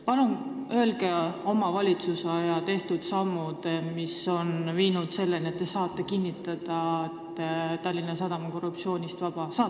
Palun öelge, mis samme teie valitsus on astunud, tänu millele te saate kinnitada, et Tallinna Sadam on korruptsioonist vaba!